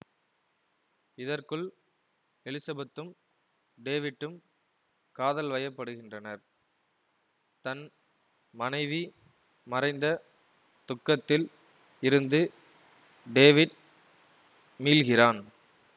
இதற்குள் எலிசபெத்தும் டேவிட்டும் காதல் வயப்படுகின்றனர் தன் மனைவி மறைந்த துக்கத்தில் இருந்து டேவிட் மீள்கிறான்